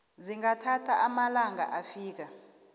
zingathatha amalanga afika